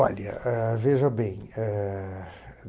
Olha, ah veja bem, eh...